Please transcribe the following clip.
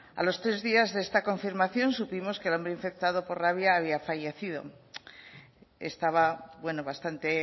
a los tres días de esta confirmación supimos que el hombre infectado por rabia había fallecido estaba bueno bastante